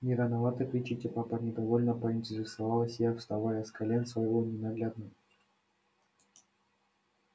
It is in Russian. не рановато кричите папа недовольно поинтересовалась я вставая с колен своего ненаглядного